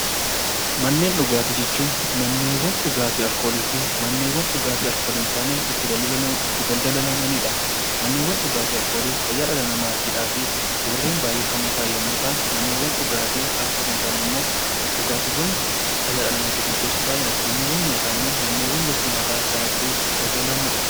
Manneen dhugaatii jechuun manneewwan dhugaatii alkoolii fi manneewwan dhugaatii alkoolii hin taane itti daldalamaniidha. Manneewwan dhugaatii alkoolii fayyaa dhala namaatiif warreen baay'ee hamoo ta'an yommuu ta'an, manneewwan dhugaatii alkoolii hin taane ammoo dhugaatiiwwan fayyaa dhala namaatiif murteessoo ta'anidha. Manneewwan nyaataa ammoo manneewwan gosti nyaataa gara garaa itti daldalamudha.